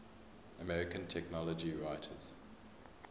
american technology writers